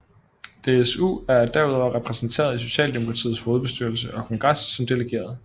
DSU er derudover repræsenteret i Socialdemokratiets hovedbestyrelse og kongres som delegerede